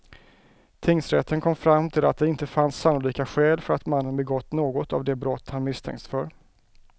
Tingsrätten kom fram till att det inte fanns sannolika skäl för att mannen begått något av de brott han misstänkts för.